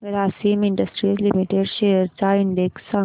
Grasim industries limited shares चा index सांगा